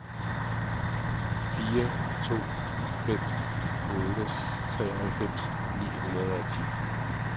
fire to fem otte treoghalvfems ni hundrede og ti